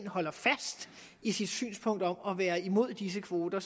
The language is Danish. holder fast i sit synspunkt om at være imod disse kvoter